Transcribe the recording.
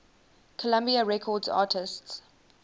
columbia records artists